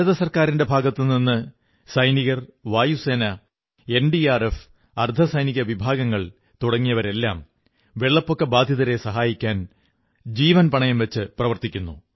ഭാരത സർക്കാരിന്റെ ഭാഗത്തുനിന്നു സൈനികർ വായുസേന എൻഡിആർഎഫ് അർധസൈനിക വിഭാഗങ്ങൾ തുടങ്ങിയവരെല്ലാം വെള്ളപ്പൊക്ക ബാധിതരെ സഹായിക്കാൻ ജീവൻ പണയം വച്ച് പ്രവർത്തിക്കുന്നു